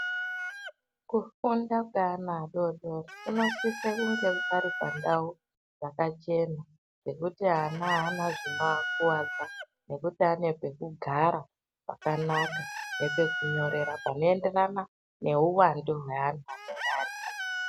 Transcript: Kufunda kweana adodori kunosise kunge pari pandau dzakachena pekuti ana aana zvinoakuwadza nekuti anepekugara pakanaka nepakunyorera panoenderana neuwandu hweanhu anenge aripo